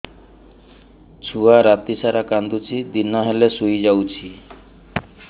ଛୁଆ ରାତି ସାରା କାନ୍ଦୁଚି ଦିନ ହେଲେ ଶୁଇଯାଉଛି